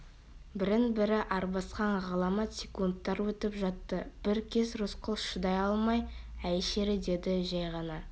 бірін-бірі арбасқан ғаламат секундтар өтіп жатты бір кез рысқұл шыдай алмай әй шері деді жәй ғана